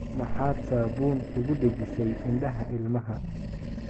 Maxaad saabuun ugu dhejisay indhaha ilmaha?